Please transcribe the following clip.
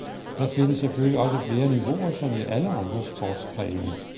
Der findes selvfølgelig også flere niveauer som i alle andre sportsgrene.